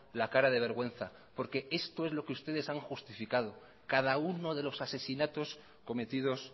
la cara de vergüenza porque esto es lo que ustedes han justificado cada uno de los asesinatos cometidos